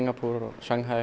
Sjanghæ